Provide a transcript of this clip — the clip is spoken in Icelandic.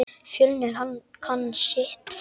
Fjölnir kann sitt fag.